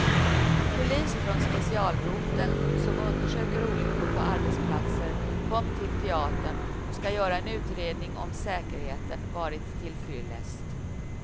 Polis från specialroteln, som undersöker olyckor på arbetsplatser, kom till teatern och skall göra en utredning om säkerheten varit tillfyllest.